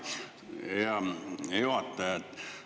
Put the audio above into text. Hea juhataja!